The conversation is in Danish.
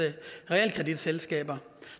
realkreditselskaber